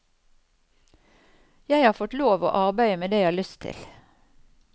Jeg har fått lov å arbeide med det jeg har lyst til.